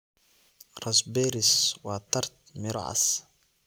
Raspberries waa tart, miro cas.